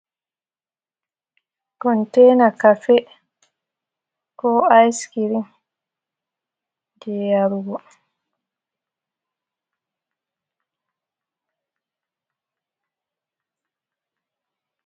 Kontena kafe, ko aiskirim je yarugo.